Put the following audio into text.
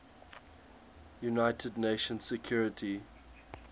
united nations security